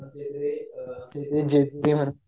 आमच्या इथे